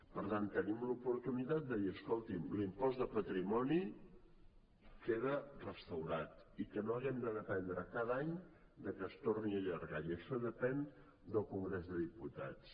per tant tenim l’oportunitat de dir escolti’m l’impost de patrimoni queda restaurat i que no hàgim de dependre cada any que es torni a allargar i això depèn del congrés de diputats